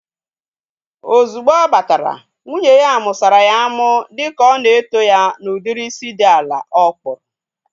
Ozugbo ọ batara, nwunye ya musara ya amu dịka ọ na eto ya na udiri isi dị ala ọ kpụrụ